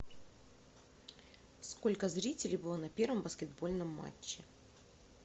сколько зрителей было на первом баскетбольном матче